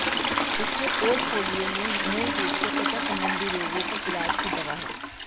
उसके पोर्टफोलियो में मूल रूप से त्वचा संबंधी रोगों के इलाज की दवा है